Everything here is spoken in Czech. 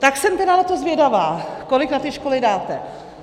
Tak jsem tedy na to zvědavá, kolik na ty školy dáte.